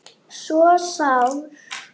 svo sár